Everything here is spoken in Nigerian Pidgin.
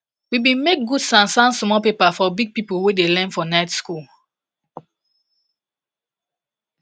we bin make gud sansan small paper for big people wey dey learn for night school